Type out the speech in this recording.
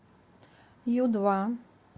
ю два